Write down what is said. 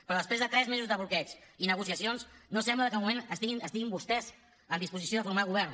però després de tres mesos de bloqueig i negociacions no sembla que de moment estiguin vostès en disposició de formar govern